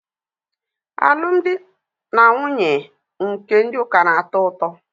Alụmdi na nwunye ndị ụka na-atọ ụtọ.